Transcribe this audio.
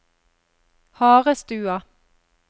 Harestua